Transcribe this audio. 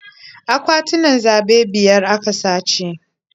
Akwatunan zaɓe biyar a ka sace.